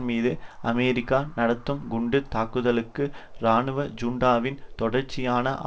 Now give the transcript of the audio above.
மீது அமெரிக்கா நடத்தும் குண்டு தாக்குதல்களுக்கு இராணுவ ஜுண்டாவின் தொடர்ச்சியான